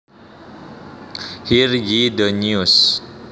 Hear ye the news